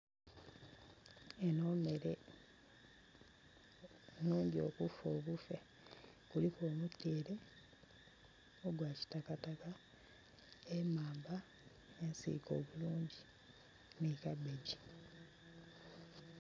Eno mmere nhungi okufa obufe kuliku omutyere ogwa kitakataka, emamba ensike obulungi ni kabegi.